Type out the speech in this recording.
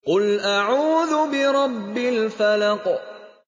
قُلْ أَعُوذُ بِرَبِّ الْفَلَقِ